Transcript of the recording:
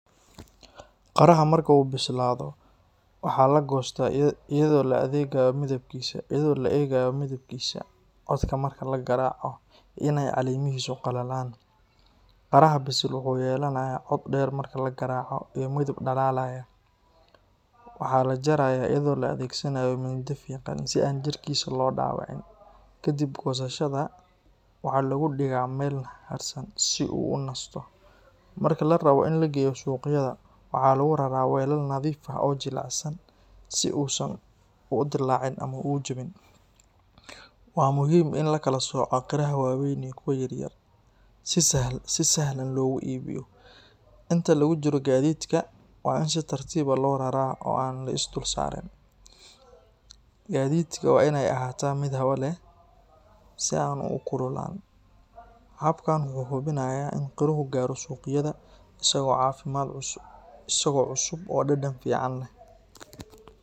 Qaraha marka uu bislaado, waxaa la goostaa iyadoo la eegayo midabkiisa, codka marka la garaaco, iyo in ay caleemihiisu qalalayaan. Qaraha bisil wuxuu yeelanayaa cod dheer marka la garaaco iyo midab dhalaalaya. Waxaa la jarayaa iyadoo la adeegsanayo mindi fiiqan, si aan jirkiisa loo dhaawicin. Ka dib goosashada, waxaa lagu dhigaa meel hadhsan si uu u nasto. Marka la rabo in la geeyo suuqyada, waxaa lagu raraa weelal nadiif ah oo jilicsan si uu uusan u dillaacin ama u jabin. Waa muhiim in la kala sooco qaraha waaweyn iyo kuwa yaryar, si sahlan loogu iibiyo. Inta lagu jiro gaadiidka, waa in si tartiib ah loo raraa oo aan la is dul saarin. Gaadhida waa inay ahaataa mid hawo leh, si aan u kululaan. Habkan wuxuu hubinayaa in qaruhu gaaro suuqyada isagoo cusub oo dhadhan fiican leh.